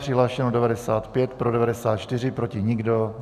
Přihlášeno 95, pro 94, proti nikdo.